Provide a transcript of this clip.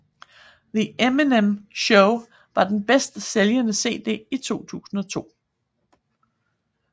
The Eminem Show var den bedstsælgende CD i 2002